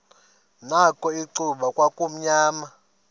nakho icuba kwakumnyama